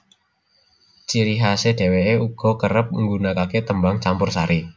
Ciri khasè dhewèkè uga kerep nggunakakè tembang campursari